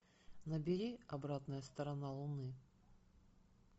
набери обратная сторона луны